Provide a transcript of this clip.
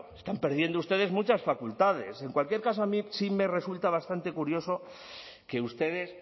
están perdiendo ustedes muchas facultades en cualquier caso a mí sí me resulta bastante curioso que ustedes